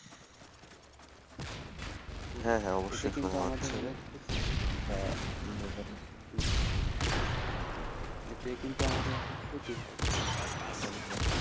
হ্যাঁ হ্যাঁ অবশ্যই হম এতে কিন্তু আমাদের অনেক ক্ষতি হয়